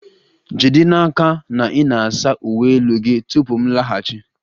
Jide n'aka na ị na-asa uwe elu gị tupu m laghachi!